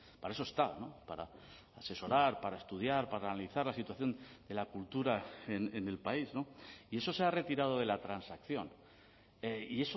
para eso está para asesorar para estudiar para analizar la situación de la cultura en el país y eso se ha retirado de la transacción y